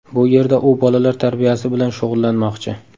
Bu yerda u bolalar tarbiyasi bilan shug‘ullanmoqchi.